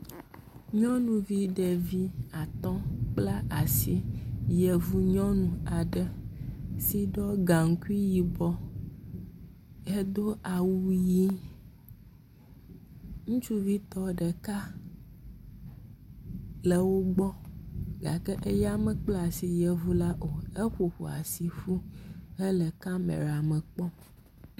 Nyɔnuvi ɖevi atɔ̃ kpla asi, yevu nyɔnu aɖe si ɖɔ gaŋkui yibɔ hedo awu ʋɛ̃. Ŋutsuvi tɔ ɖeka le wo gbɔ, gake eya mekpla asi yevu la o, eƒoƒu asi fu hele kamɛra me kpɔm.